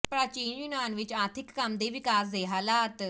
ਪ੍ਰਾਚੀਨ ਯੂਨਾਨ ਵਿਚ ਆਰਥਿਕ ਕੰਮ ਦੇ ਵਿਕਾਸ ਦੇ ਹਾਲਾਤ